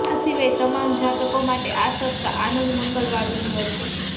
આ સિવાય તમામ જાતકો માટે આ સપ્તાહ આનંદ મંગલ વાળું નીવડશે